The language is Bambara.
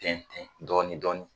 Tɛntɛn dɔɔni dɔɔni.